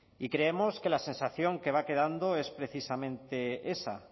y creemos que la sensación que va quedando es precisamente esa